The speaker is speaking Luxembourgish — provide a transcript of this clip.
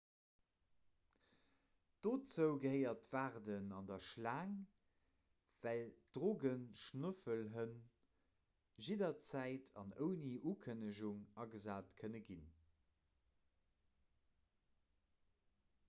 dozou gehéiert d'waarden an der schlaang well drogeschnoffelhënn jidderzäit an ouni ukënnegung agesat kënne ginn